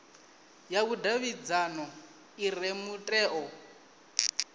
ya vhudavhidzano i re mutheo